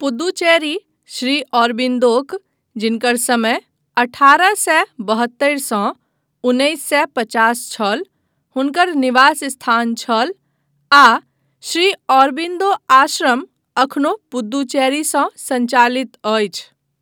पुद्दुचेरी श्री औरबिन्दोक, जिनकर समय अठारह सए बहत्तरि सँ उन्नैस सए पचास छल, हुनकर निवास स्थान छल आ श्री औरबिन्दो आश्रम एखनो पुद्दुचेरीसँ सञ्चालित अछि।